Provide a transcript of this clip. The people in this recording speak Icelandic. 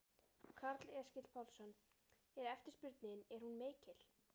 Karl Eskil Pálsson: Er eftirspurnin, er hún mikil?